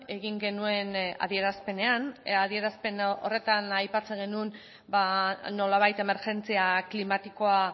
egin genuen adierazpenean adierazpen horretan aipatzen genuen nolabait emergentzia klimatikoa